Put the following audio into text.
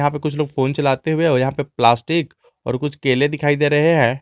यहां पे कुछ लोग फोन चलाते हुए और यहां पे प्लास्टिक और कुछ केले दिखाई दे रहे हैं।